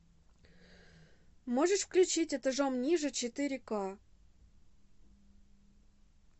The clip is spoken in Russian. можешь включить этажом ниже четыре ка